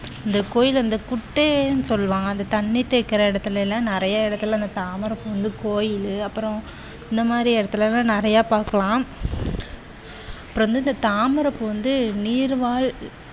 இந்த கோயில்ல வந்து குட்டைன்னு சொல்லுவாங்க அந்த தண்ணி தேக்குற இடத்துல எல்லாம் நிறைய இடத்தில இந்த தாமரை பூ கோவிலும் அப்புறம் இந்த மாதிரி இடத்துல எல்லாம் நிறைய பார்க்கலாம். அப்புறம் வந்து தாமரைப்பூ வந்து நீர்வாழ்